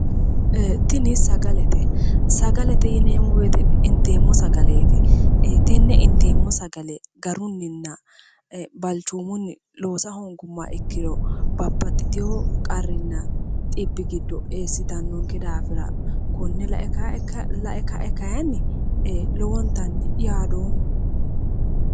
Tini sagalete, sagalete yinneemmo woyte inteemmo sagaleti tene inteemmo sagale garuninna ee balichoomuni loosa hoonguummoha ikkiro babbaxitino qarrinna xibbi giddo eessittanonke daafira kone lae kae kayinni lowontanni yaadoomma".